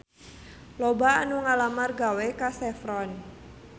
Loba anu ngalamar gawe ka Chevron